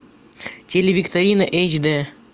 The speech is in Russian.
телевикторина эйч д